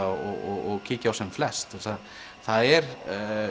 og kíkja á sem flest það er